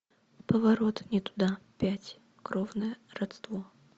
поворот не туда пять кровное родство